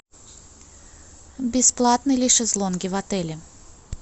бесплатны ли шезлонги в отеле